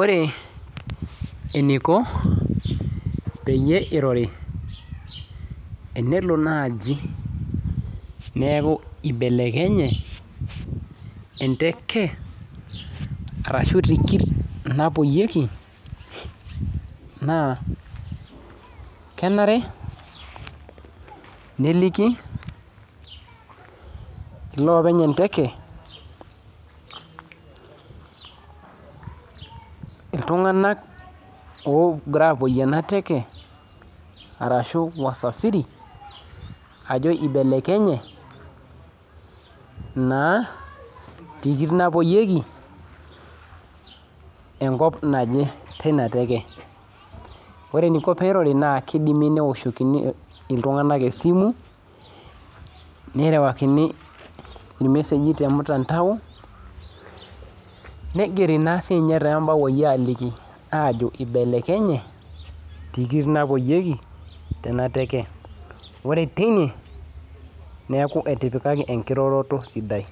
Ore eniko peyieu irori tenelo nai neaku ibelekenye enteke arashu tikit napoyieki na kenare neliki iloopenybenteke ltunganak ogira apoyie ana teke ashu wasafiri ogira apoyie enateke na tikit napoyieki enkop naje tina teke ore eniko peirori kidimi neoshokoni ltunganak esimu nigirokini irmeseji tormutandao nigeri tombaoi ajoki ibelekenye tikit napoyieki kake enkiroroto sidai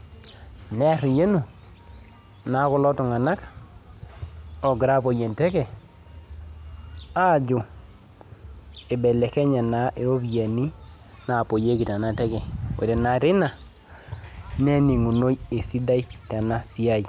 neariyanu na kulo tunganak ogira apoyie enteke ajo ibelekenye tikitik napoyieki tenateke ore tina neningunoi esidai tenasiai.